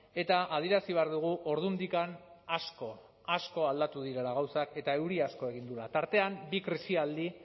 eta adierazi behar dugu ordundik asko asko aldatu direla gauzak eta euri asko egin duela tartean bi krisialdi